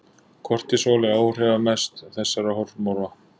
Kortisól er áhrifamest þessara hormóna.